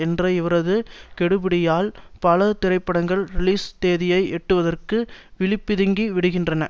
என்ற இவரது கெடுபிடியால் பல திரைப்படங்கள் ரிலீஸ் தேதியை எட்டுவதற்கு விழி பிதுங்கி விடுகின்றன